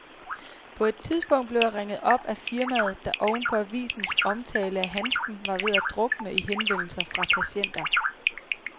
På et tidspunkt blev jeg ringet op af firmaet, der oven på avisens omtale af handsken var ved at drukne i henvendelser fra patienter.